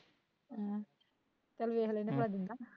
ਅਹ ਚੱਲ ਵੇਖ ਲੈਂਦੇ ਭਲਾ ਦਿੰਦਾ